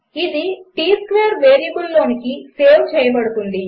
ఇది T square వేరియబుల్లోనికి save చేయబడుతుంది